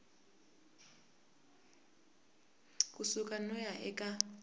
ku suka no ya eka